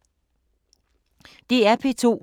DR P2